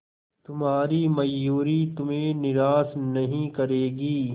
तुम्हारी मयूरी तुम्हें निराश नहीं करेगी